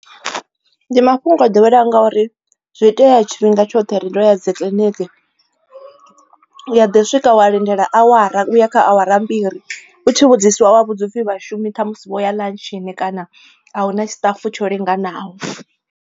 Ndi mafhungo o ḓoweleaho ngauri zwi itea tshifhinga tshoṱhe ro ya dzi kiḽiniki u ya ḓi swika wa lindela awara uya kha awara mbili u tshi vhudziswa wa vhudziwa upfi vhashumi ṱhamusi vho ya ḽantshini kana a hu na tshiṱafu tsho linganaho.